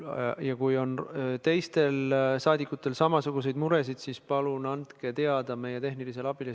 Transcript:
Ja kui teistel rahvasaadikutel on samasuguseid muresid, siis palun andke nendest teada meie tehnilisele abile.